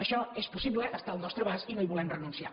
això és possible està al nostre abast i no hi volem renunciar